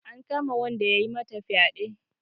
An kama wanda yayi mata fyaɗe.